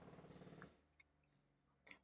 Hvernig líður honum?